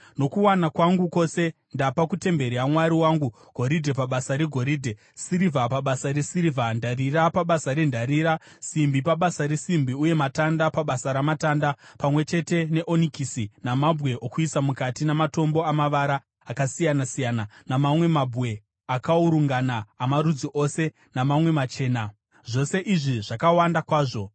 Nokuwana kwangu kwose ndapa kutemberi yaMwari wangu goridhe pabasa regoridhe, sirivha pabasa resirivha, ndarira pabasa rendarira, simbi pabasa resimbi uye matanda pabasa ramatanda, pamwe chete neonikisi, namabwe okuisa mukati namatombo amavara akasiyana-siyana, namamwe mabwe akaurungana amarudzi ose namamwe machena, zvose izvi zvakawanda kwazvo.